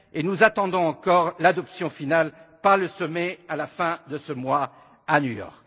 Nous attendons encore l'adoption finale par le sommet, à la fin de ce mois, à New York.